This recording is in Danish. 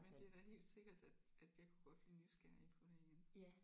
Men det er da helt sikkert at at jeg kunne godt blive nysgerrig på det igen